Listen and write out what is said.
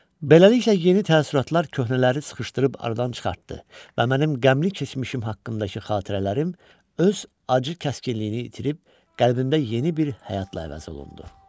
Beləliklə yeni təəssüratlar köhnələri sıxışdırıb aradan çıxartdı və mənim qəmli keçmişim haqqındakı xatirələrim öz acı kəskinliyini itirib qəlbimdə yeni bir həyat ilə əvəz olundu.